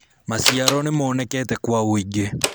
maciaro nĩmonekete kwa wũingi